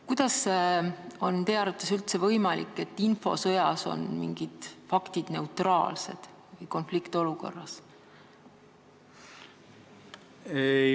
Kuidas on teie arvates üldse võimalik, et infosõjas on mingid faktid konfliktiolukorras neutraalsed?